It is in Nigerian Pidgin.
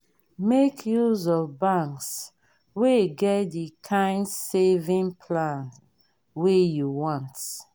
make use of banks wey get the kind saving plan wey you want